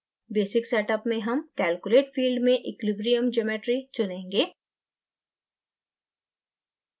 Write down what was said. basic setup में हम calculate field में equilibrium geometry चुनेंगे